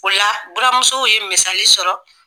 O la buramusow ye misali sɔrɔ